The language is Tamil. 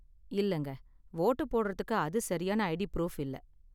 இல்லங்க, வோட்டு போடுறதுக்கு அது சரியான ஐடி ப்ரூஃப் இல்ல.